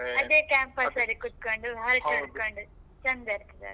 ಅದೇ campus ಅಲ್ಲಿ ಕೂತ್ಕೊಂಡು ಹರಟೆ ಹೊಡ್ಕೊಂಡು ಚಂದ ಇರ್ತದಲ್ಲ.